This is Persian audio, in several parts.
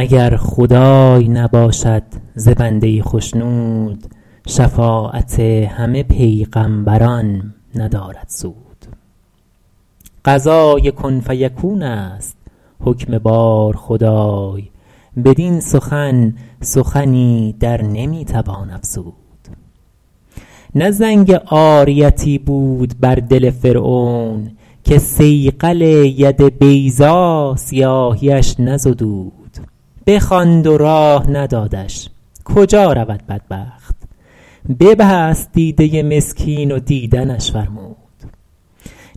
اگر خدای نباشد ز بنده ای خشنود شفاعت همه پیغمبران ندارد سود قضای کن فیکون است حکم بار خدای بدین سخن سخنی در نمی توان افزود نه زنگ عاریتی بود بر دل فرعون که صیقل ید بیضا سیاهیش نزدود بخواند و راه ندادش کجا رود بدبخت ببست دیده مسکین و دیدنش فرمود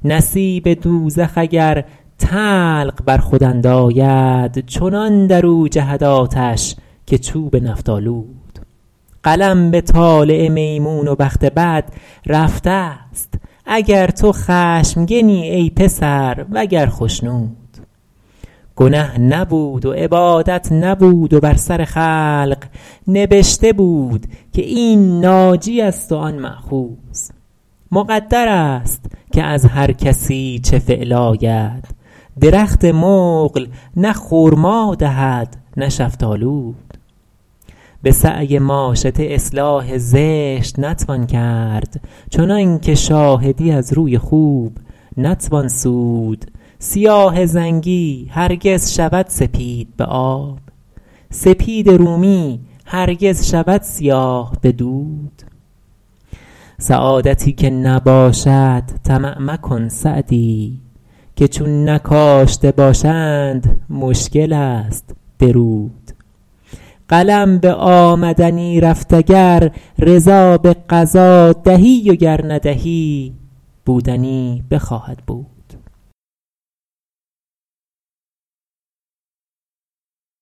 نصیب دوزخ اگر طلق بر خود انداید چنان در او جهد آتش که چوب نفط اندود قلم به طالع میمون و بخت بد رفته ست اگر تو خشمگنی ای پسر وگر خشنود گنه نبود و عبادت نبود و بر سر خلق نبشته بود که این ناجی است و آن مأخوذ مقدر است که از هر کسی چه فعل آید درخت مقل نه خرما دهد نه شفتالود به سعی ماشطه اصلاح زشت نتوان کرد چنان که شاهدی از روی خوب نتوان سود سیاه زنگی هرگز شود سپید به آب سپید رومی هرگز شود سیاه به دود سعادتی که نباشد طمع مکن سعدی که چون نکاشته باشند مشکل است درود قلم به آمدنی رفت اگر رضا به قضا دهی و گر ندهی بودنی بخواهد بود